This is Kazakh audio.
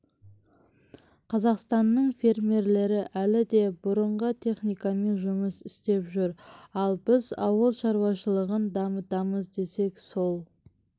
қазақстанның фермерлері әлі де бұрынғы техникамен жұмыс істеп жүр ал біз ауыл шаруашылығын дамытамыз десек сол